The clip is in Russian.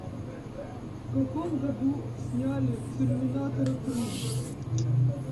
в каком году сняли терминатора три